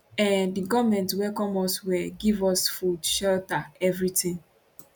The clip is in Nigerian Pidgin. um di goment welcome us well give us food shelter evritin